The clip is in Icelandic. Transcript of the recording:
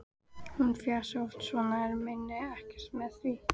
Hún fjasi oft svona en meini ekkert með því.